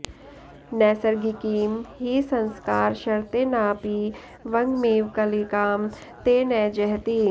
नैसिर्गिकीं हि संस्कारशर्तेनाऽपि वङ्गमिव कालिकां ते न जहति